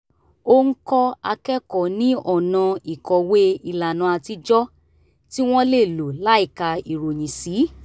ó ń kọ́ akẹ́kọ̀ọ́ ní ọ̀nà ìkọ̀wé ìlànà àtijọ́ tí wọ́n lè lò láìka ìròyìn sí